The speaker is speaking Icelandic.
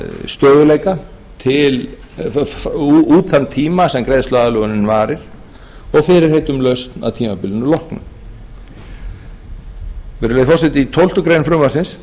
stöðugleika út þann tíma sem greiðsluaðlögunin varir og fyrirheit um lausn að tímabilinu loknu virðulegi forseti í tólftu greinar frumvarpsins